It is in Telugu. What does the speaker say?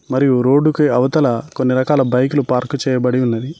మరియు రోడ్డుకి అవతల కొన్ని రకాల బైకులు పార్కు చేయబడి ఉన్నది.